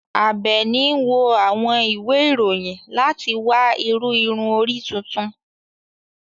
Abeeni n wo àwọn ìwe iroyin lati wa iru ìrun orí tuntun